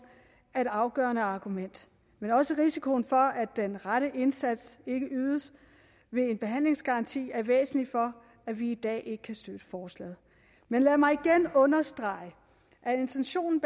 er et afgørende argument men også risikoen for at den rette indsats ikke ydes ved en behandlingsgaranti er væsentligt for at vi i dag ikke kan støtte forslaget men lad mig igen understrege at intentionen